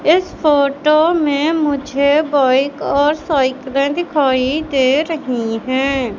इस फोटो में मुझे बाइक और साइकले दिखाई दे रही है।